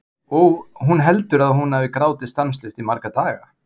Og hún heldur að hún hafi grátið stanslaust í marga daga.